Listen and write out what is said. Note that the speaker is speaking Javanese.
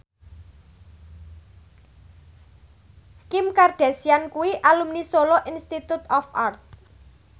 Kim Kardashian kuwi alumni Solo Institute of Art